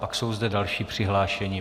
Pak jsou zde další přihlášení.